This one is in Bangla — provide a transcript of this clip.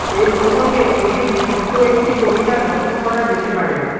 এ প্রসঙ্গে কবির ছোট্ট একটি কবিতা লক্ষ করা যেতে পারে